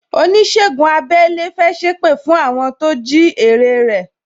Onisegun abẹ́lẹ́ fẹ́ sépè fún àwọn tó jí ère rẹ